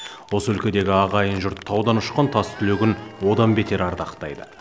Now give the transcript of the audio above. осы өлкедегі ағайын жұрт таудан ұшқан тастүлегін одан бетер ардақтайды